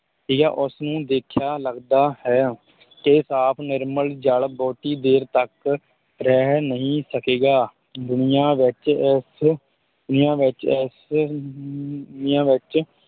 ਉਸ ਨੂੰ ਦੇਖਿਆ ਲਗਦਾ ਹੈ ਤੇ ਸਾਫ਼ ਨਿਰਮਲ ਜਲ ਬਹੁਤੀ ਦੇਰ ਤੱਕ ਰਹਿ ਨਹੀਂ ਸਕੇਗਾ ਦੁਨੀਆ ਵਿੱਚ ਇਸ ਦੁਨੀਆ ਵਿੱਚ ਇਸ ਅਮ ਦੁਨੀਆਂ ਵਿੱਚ